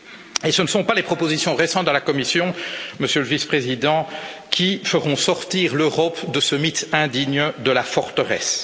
Et ce ne sont pas les propositions récentes de la Commission, Monsieur le vice Président, qui feront sortir l'Europe de ce mythe indigne de la forteresse.